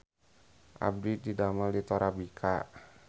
Abdi didamel di Torabika